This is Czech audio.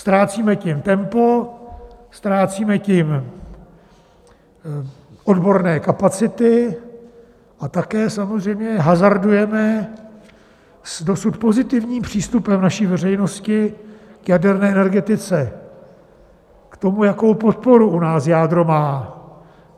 Ztrácíme tím tempo, ztrácíme tím odborné kapacity a také samozřejmě hazardujeme s dosud pozitivním přístupem naší veřejnosti k jaderné energetice, k tomu, jakou podporu u nás jádro má.